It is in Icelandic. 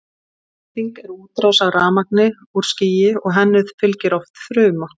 elding er útrás af rafmagni úr skýi og henni fylgir oft þruma